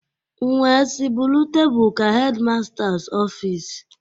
M wee sị buru table ka headmasters office.